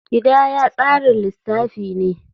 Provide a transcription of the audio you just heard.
Kidaya tsarin lissafi ne.